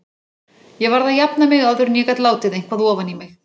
Ég varð að jafna mig áður en ég gat látið eitthvað ofan í mig.